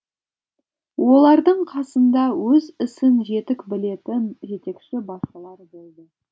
олардың қасында өз ісін жетік білетін жетекші басшылар болды